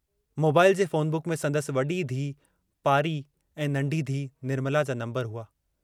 Mobile जे phone book में संदसि वडी धीअ पारी ऐं नन्ढी धीअ निर्मला जा नम्बर हुआ।